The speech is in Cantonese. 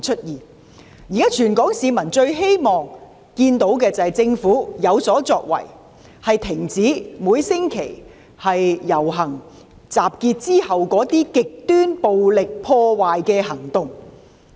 現時，全港市民最希望見到政府有所作為，停止每星期在遊行集結後出現的極端暴力破壞行為。